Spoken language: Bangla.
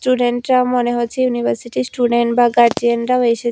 স্টুডেন্টরাও মনে হচ্ছে ইউনিভার্সিটির স্টুডেন্ট বা গার্জিয়ানরাও এসেছে।